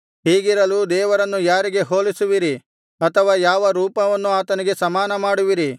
ಹೀಗಿರಲು ದೇವರನ್ನು ಯಾರಿಗೆ ಹೋಲಿಸುವಿರಿ ಅಥವಾ ಯಾವ ರೂಪವನ್ನು ಆತನಿಗೆ ಸಮಾನ ಮಾಡುವಿರಿ